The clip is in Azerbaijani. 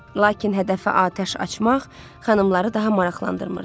Lakin hədəfə atəş açmaq xanımları daha maraqlandırmırdı.